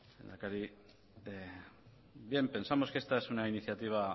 lehendakari bien pensamos que esta es una iniciativa